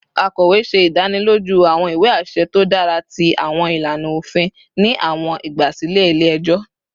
Akọwe ṣe idaniloju awọn iwe aṣẹ to dara ti awọn ilana ofin ni awọn igbasilẹ ile-ẹjọ